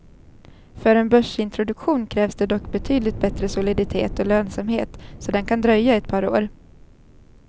För en börsintroduktion krävs det dock betydligt bättre soliditet och lönsamhet, så den kan dröja ett par år.